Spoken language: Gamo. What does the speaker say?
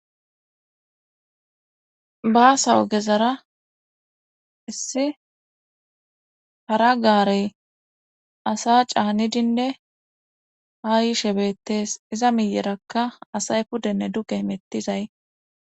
baasawo gezara issi hara gaarey asa caani dinde haa yishe bettees iza miyerakka asay pudenne duge mettizay